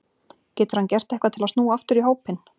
Getur hann gert eitthvað til að snúa aftur í hópinn?